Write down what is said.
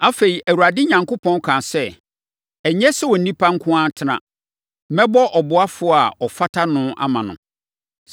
Afei, Awurade Onyankopɔn kaa sɛ, “Ɛnyɛ sɛ onipa nko ara tena; mɛbɔ ɔboafoɔ a ɔfata no ama no.”